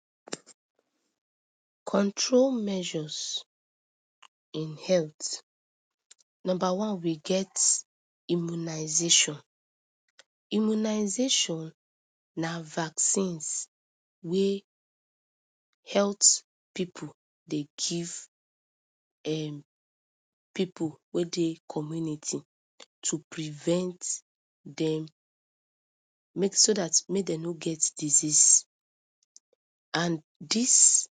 46_[Ortography]_April_pidgin_pcm_f_1667_HE00505_Idiongouwem Control measures in health number one we get immunisation. immunisation na vaccine wey health pipu dey give dem pipu wey dey community to prevent dem so that make dem no get disease and this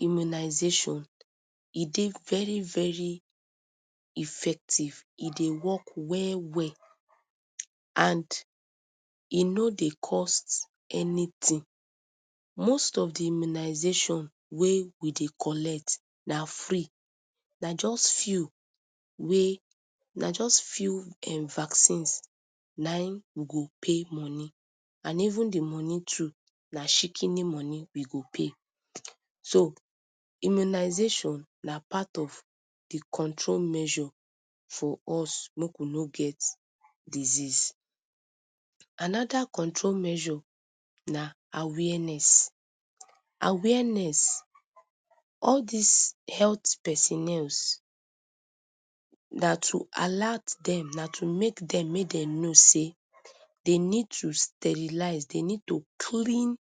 immunisation e dey very very effective. e dey work well well and e no dey cost anything. most of de immunisation wey we dey collect na free- na just few wey na just few vaccines na im we go pay money and even de money too na chikini money we go pay. so immunisation na a part of de control measure for us make we no get disease. another control measure na awareness awareness all this health personnel na to alert them na to make them make dem know sey they need to sterilise; they need to clean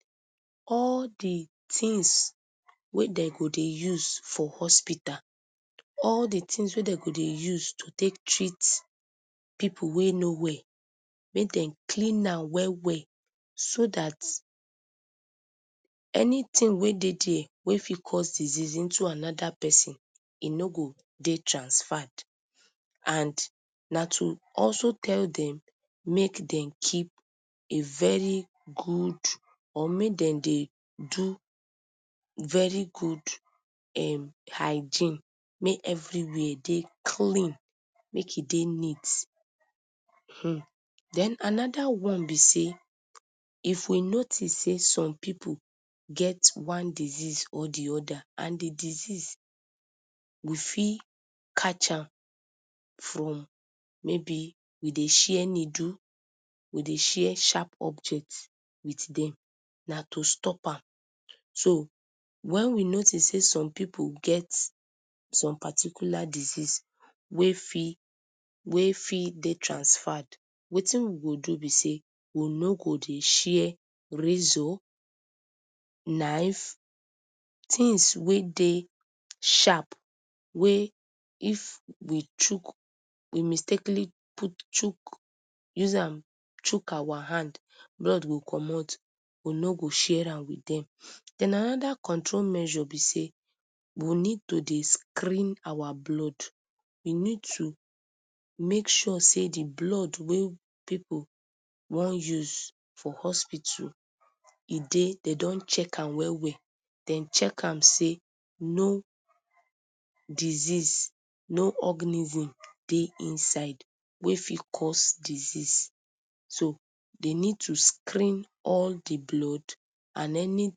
all de things wey dem go dey use for hospital. all de things wey dem go dey use to take treat pipu wey no well make dey clean am well well so that anything we dey there wey fit cause disease into another person e no go dey transferred. And na to also tell them make dem keep a very good or make dem dey do very good um hygiene make everywhere dey clean. make e dey neat um. then another one be sey if we notice sey some pipu get one disease or de other and de disease we fit catch am from maybe we dey share needle we dey share sharp objects dem na to stop am. so when we notice sey some pipu get some particular disease wey fit wey fit dey transferred wetin we go do be sey we no go dey share razor knife things wey dey sharp wey if e chuck e mistakenly chuck use am chuck our hand blood go comot. we no go share am again. then another control measure be sey we need to dey screen out blood we need to make sure sey de blood wey pipu wan use for hospital e deydey don check am well well dem check am sey no disease no organism dey inside wey fit cause disease so dey need to screen all de blood and any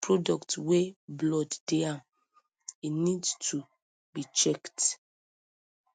products wey blood dey am e need to be checked.